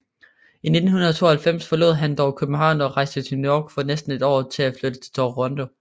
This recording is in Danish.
I 1992 forlod han dog København og rejste til New York for næste år at flytte til Toronto